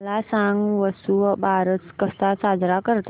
मला सांग वसुबारस कसा साजरा करतात